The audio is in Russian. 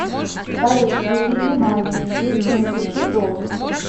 салют переведи маме и напиши долг